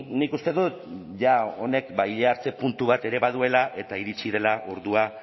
nik uste dut ja honek ba ile hartze puntu bat ere baduela eta iritsi dela ordua